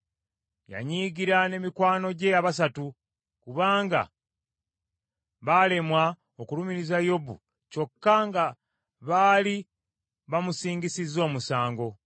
Yanyiigira ne mikwano gye abasatu, kubanga baalemwa okulumiriza Yobu kyokka nga baali bamusingisizza omusango.